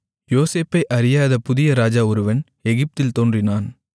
யோசேப்பை அறியாத புதிய ராஜா ஒருவன் எகிப்தில் தோன்றினான்